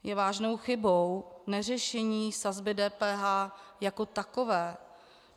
Je vážnou chybou neřešení sazby DPH jako takové.